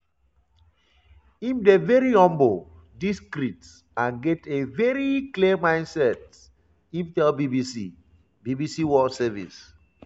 im dey veri humble discreet and get a veri clear mindset" im tell bbc bbc world service.